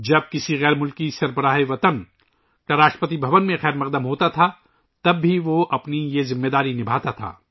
یہاں تک کہ جب راشٹرپتی بھون میں کسی غیر ملکی سربراہ کا استقبال کیا جاتا تھا تو بھی وہ یہ کردار ادا کرتا تھا